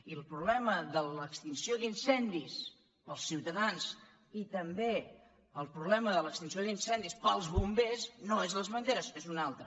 i el problema de l’extinció d’incendis per als ciutadans i també el problema de l’extinció d’incendis per als bombers no són les banderes n’és un altre